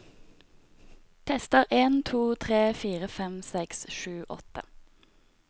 Tester en to tre fire fem seks sju åtte